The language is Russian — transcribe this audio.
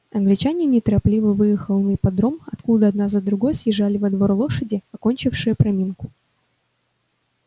англичанин неторопливо выехал на ипподром откуда одна за другой съезжали во двор лошади окончившие проминку